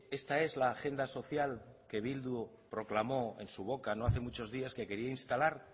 esta es la agenda social que bildu proclamó en su boca no hace muchos días que quería instalar